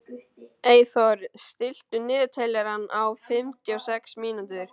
Eyþór, stilltu niðurteljara á fimmtíu og sex mínútur.